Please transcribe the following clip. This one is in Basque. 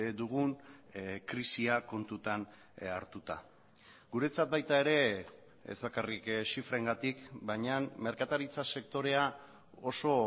dugun krisia kontutan hartuta guretzat baita ere ez bakarrik zifrengatik baina merkataritza sektorea oso